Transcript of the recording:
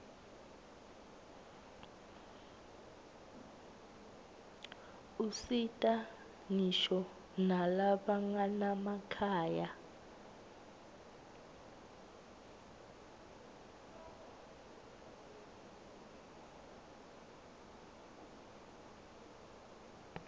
usita ngisho nalabanganamakhaya